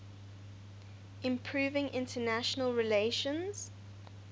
improving international relations